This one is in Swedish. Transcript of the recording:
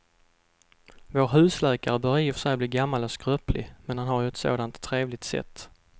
Vår husläkare börjar i och för sig bli gammal och skröplig, men han har ju ett sådant trevligt sätt!